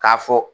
K'a fɔ